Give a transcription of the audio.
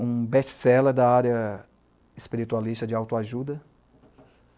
um best-seller da área espiritualista de autoajuda.